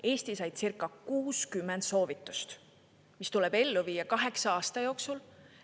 Eesti sai circa 60 soovitust, mis tuleb ellu viia kaheksa aasta jooksul.